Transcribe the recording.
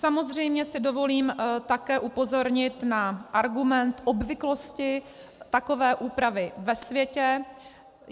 Samozřejmě si dovolím také upozornit na argument obvyklosti takové úpravy ve světě.